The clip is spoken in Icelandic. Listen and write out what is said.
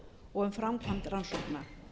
og um framkvæmd rannsókna